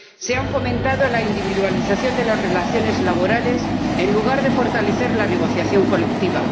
Se ha fomentado la individualización de las relaciones laborales en lugar de fortalecer la negociación colectiva.